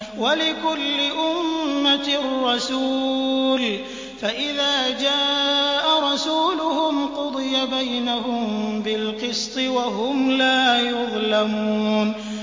وَلِكُلِّ أُمَّةٍ رَّسُولٌ ۖ فَإِذَا جَاءَ رَسُولُهُمْ قُضِيَ بَيْنَهُم بِالْقِسْطِ وَهُمْ لَا يُظْلَمُونَ